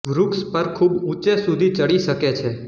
વૃક્ષ પર ખુબ ઉંચે સુધી ચડી શકે છે